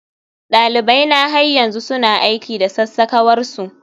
dalibaina har yanzu suna aiki da sassakawar su